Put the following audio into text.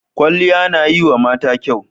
Kwalliya na yiwa mata kyau.